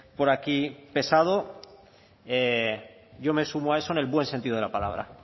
por aquí pesado yo me sumo a eso en el buen sentido de la palabra